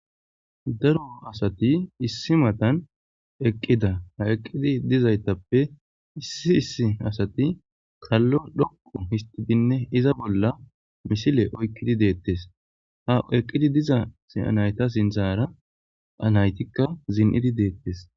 Daro asati issi matan eqqida ha eqqidi dizaytappe issi issi asati kallo dhoqu histidinne iza bolla misile oykkidi deettes ha eqqidi diza siyanayta sinzaara anaytikka zin7idi deettes.